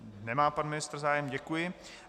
Nemá pan ministr zájem, děkuji.